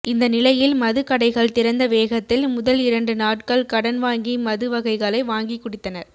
இந்த நிலையில் மது கடைகள் திறந்த வேகத்தில் முதல் இரண்டு நாட்கள் கடன் வாங்கி மது வகைகளை வாங்கி குடித்தனர்